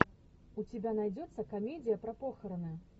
у тебя найдется комедия про похороны